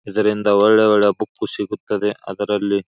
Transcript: ಇದರಿಂದ ಒಳ್ಳೆ ಒಳ್ಳೆ ಬುಕ್ ಸಿಗುತ್ತದೆ ಅದರಲ್ಲಿ.